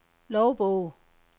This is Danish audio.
logbog